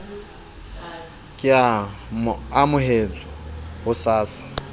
ka e amohetswe ho sasa